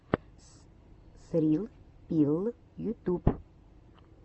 срилл пилл ютуб